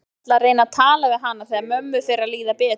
Ég ætla að reyna að tala við hana þegar mömmu fer að líða betur.